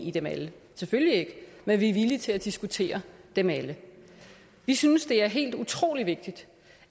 i dem alle selvfølgelig ikke men vi er villige til at diskutere dem alle vi synes det er helt utrolig vigtigt